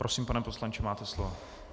Prosím, pane poslanče, máte slovo.